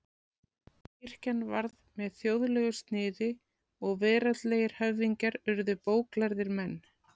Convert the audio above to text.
Kirkjan varð með þjóðlegu sniði og veraldlegir höfðingjar urðu bóklærðir menn.